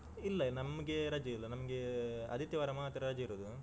ಇಲ್ಲ ನಮ್ಗೆ ರಜೆ ಇಲ್ಲ ನಮ್ಗೆ ಆದಿತ್ಯವಾರ ಮಾತ್ರ ರಜೆ ಇರುದು.